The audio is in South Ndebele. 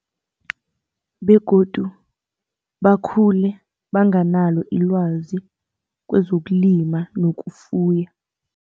Begodu bakhule banganalo ilwazi kwezokulima nokufuya.